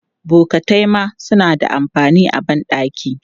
Bokatai ma suna da amfani a ban ɗaki.